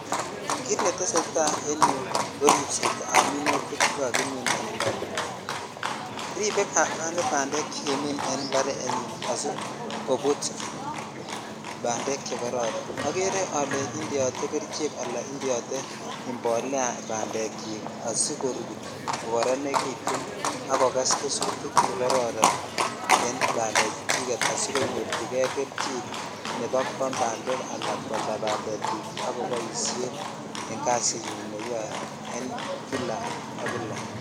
Kit netesetai en yuu ko ribset ab minutik. chekakimin en imparet rebee kamani bandek chekimin en imparenyin asikobut bandek chekororonokeree olee indeote kerichek ala indeode ibolea bandek sikorut kokororenekitun ak koges gesutik chekokoron en bandek chuchiket asikonyorchi kei kelchin nebo kwam bandek asikwalda ak koboishen en kasit neyoe en kila ak kila.